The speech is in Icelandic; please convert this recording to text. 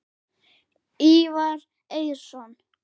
Ívar Eiðsson